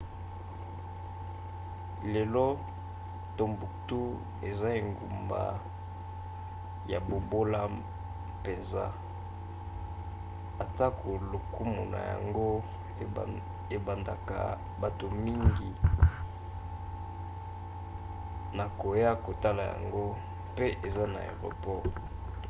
lelo timbuktu eza engumba ya bobola mpenza atako lokumu na yango ebendaka bato mingi na koya kotala yango mpe eza na aeroport